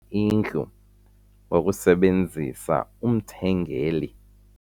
indlu ngokusebenzisa umthengeli.